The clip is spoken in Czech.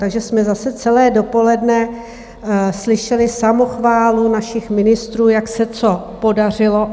Takže jsme zase celé dopoledne slyšeli samochválu našich ministrů, jak se co podařilo.